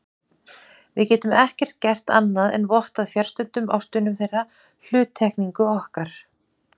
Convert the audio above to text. Við getum ekkert gert annað en vottað fjarstöddum ástvinum þeirra hluttekningu okkar.